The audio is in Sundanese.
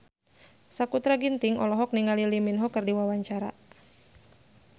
Sakutra Ginting olohok ningali Lee Min Ho keur diwawancara